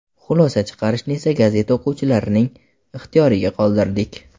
Xulosa chiqarishni esa gazeta o‘quvchilarining ixtiyoriga qoldirdik.